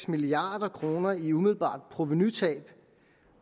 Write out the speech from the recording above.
milliard kroner i umiddelbart provenutab